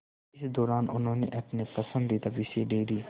इस दौरान उन्होंने अपने पसंदीदा विषय डेयरी